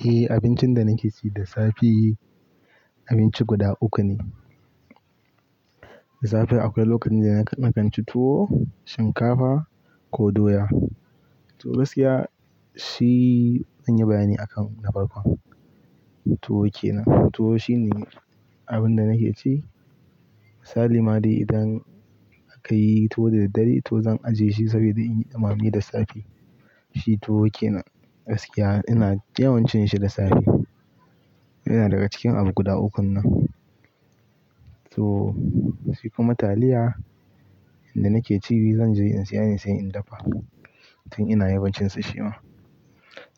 Eh, abincin da nake ci da safe abinci guda uku ne. Da safe akwai lokacin da na kan ci tuwo, shinkafa ko doya. To gaskiya shi in yi bayani a kan na farko, tuwo ke nan. Tuwo shine abin da nake ci. Misali ma dai idan akayi tuwo da daddare to zan ajiye shi saboda in yi dumame da safe. Shi tuwo ke nan gaskiya ina yawan cin shi da safe. Ina daga cikin abu guda ukun nan. To shi kuma taliya inda nake ci shi zan je in saya ne sai in dafa tun ina yawancin ci shi ma.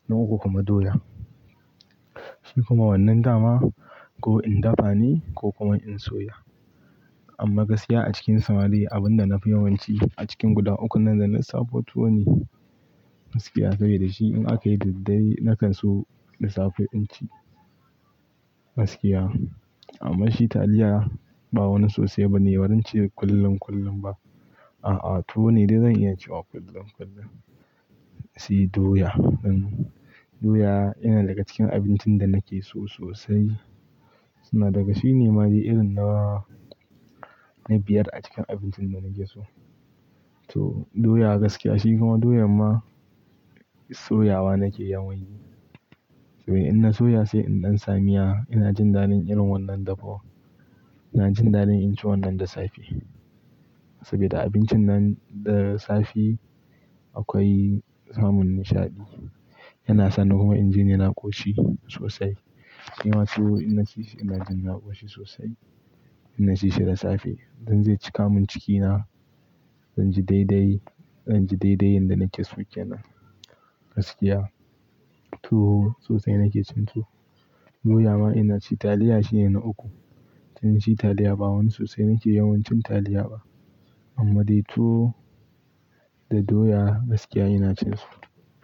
Na uku kuma doya. Shi kuma wannan dama ko in dafa ne ko kuma in soya. Amma gaskiya a cikin samari abin da na fi yawanci a cikin guda ukun nan da na saba tuwo ne gaskiya saboda shi in aka yi da daddare na kan so da safe in ci gaskiya. Amma shi taliya ba wani sosai ba ne, ba zance kullun kullun ba. A'a, tuwo ne dai zan iya cewa kullun kullun. Se doya, doya yana daga cikin abincin da nake so sosai. Suna daga shi ne ma dai irin na biyar a cikin abincin da nake so. To doya gaskiya shi kuma doyan ma soyawa nake yawan yi. Saboda in na soya sai in ɗan sa miya, ina jin daɗin irin wannan dafuwan. Ina jin daɗin in ci wannan da safe saboda abincin nan da safe akwai samun nishaɗi. Yana sani kuma in jini na ƙoshi sosai. Shima tuwo in na ci shi ina jin na ƙoshi sosai, in na ci shi da safe, ze cika min cikina, zan ji daidai, zan ji daidai inda nake so kenan gaskiya. Tuwo sosai nake cin tuwo. Doya ma ina ci, taliya shi ne na uku. Yawanci taliya ba wani sosai nake yawancin taliya ba. Amma dai tuwo da doya gaskiya ina cin su.